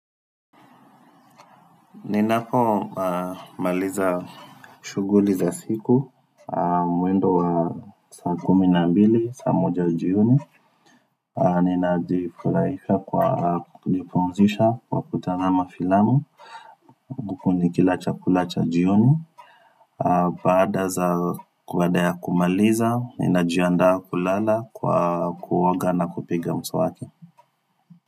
Ninapo maliza shuguli za siku, mwendo wa saa kumi na mbili, saa moja jioni. Nina jipulaisha kwa kujipumzisha kwa kutazama filamu. Huku nikila chakula cha jioni. Baada za baada ya kumaliza, ni najiandaa kulala kwa kuoga na kupiga mswaki.